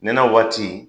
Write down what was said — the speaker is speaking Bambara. Nɛnɛ waati